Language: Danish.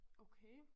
Okay